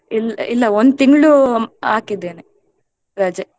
ಇಲ್~ ಇಲ್ಲ ಒಂದು ತಿಂಗಳು ಹಾಕಿದ್ದೇನೆ ರಜೆ.